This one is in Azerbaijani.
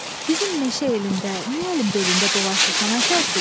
Bizim meşə elində niyə əlin belində dolaşırsan əfərsiz?